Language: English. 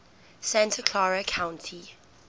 santa clara county